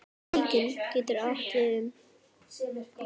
Víkin getur átt við um